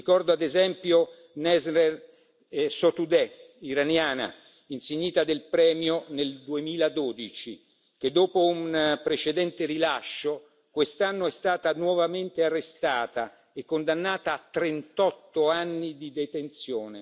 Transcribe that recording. Ricordo, ad esempio, Nasrin Sotoudeh, iraniana, insignita del premio nel 2012, che, dopo un precedente rilascio, quest'anno è stata nuovamente arrestata e condannata a trentotto anni di detenzione.